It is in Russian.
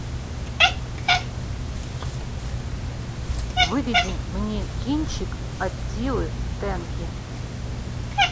выведи мне кинчик аттилы тенки